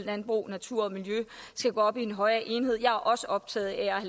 landbrug og natur og miljø skal gå op i en højere enhed jeg er også optaget af at